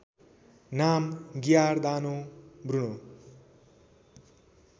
नाम Giordano Bruno